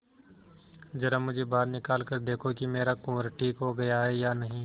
जरा मुझे बाहर निकाल कर देखो कि मेरा कुंवर ठीक हो गया है या नहीं